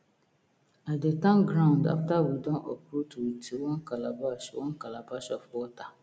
i dey thank ground after we don uproot with one calabash one calabash of water